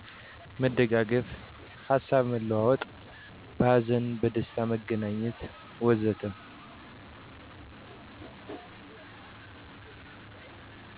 መደጋገፍ፣ ሀሳብ መለዋወጥ፣ በሀዘንና በደስታ መገናኘት ወዘተ።